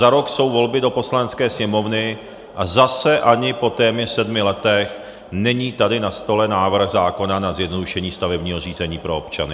Za rok jsou volby do Poslanecké sněmovny a zase ani po téměř sedmi letech není tady na stole návrh zákona na zjednodušení stavebního řízení pro občany.